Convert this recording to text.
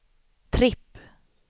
tripp